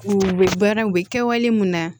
U bɛ baara u bɛ kɛwale mun na